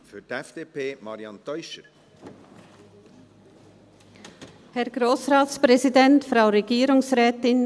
In dem Sinn werden wir diese Motion nicht unterstützen.